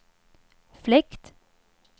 fläkt